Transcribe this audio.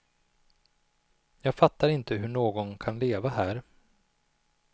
Jag fattar inte hur någon kan leva här.